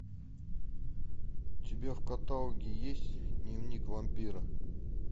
у тебя в каталоге есть дневник вампира